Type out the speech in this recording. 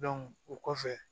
o kɔfɛ